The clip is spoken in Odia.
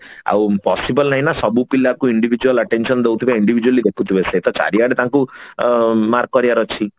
ଆଉ possible ନାଇଁ ନା ସବୁ ପିଲା କୁ individual attention ଦଉଥିବେ individually ଦେଖୁଥିବେ ସେତ ଚାରିଆଡେ ଅ ତାଙ୍କୁ mark କରିବାର ଅଛି